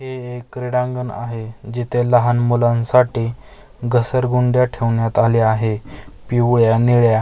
हे एक क्रीडांगण आहे जिथे लहान मुलांसाठी घसरगुंड्या ठेवण्यात आली आहे पिवळ्या निळ्या --